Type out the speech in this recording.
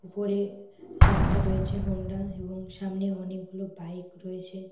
উপরে লেখা রয়েছে হন্ডা এবং সামনে অনেকগুলো বাইক রয়েছে।